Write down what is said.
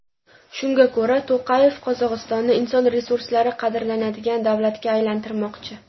Shunga ko‘ra, To‘qayev Qozog‘istonni inson resurslari qadrlanadigan davlatga aylantirmoqchi.